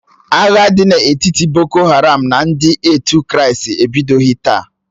Agha dị n'etiti ndị boko haram na ndị otu kristi ebidoghi taa.